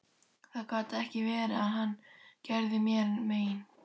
Það gat ekki verið að hann gerði mér mein.